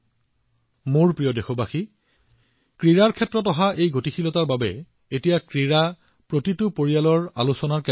আৰু মোৰ দেশবাসীসকল যেতিয়া ইয়াত ইমান গতি আহিছে প্ৰতিটো পৰিয়ালে ক্ৰীড়াৰ বিষয়ে আলোচনা আৰম্ভ কৰিছে